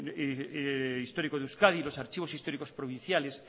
histórico de euskadi los archivos históricos provinciales